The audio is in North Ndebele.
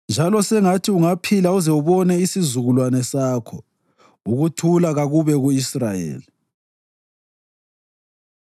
njalo sengathi ungaphila uze ubone isizukulwane sakho. Ukuthula kakube ku-Israyeli.